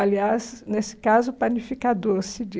Aliás, nesse caso, panificador, se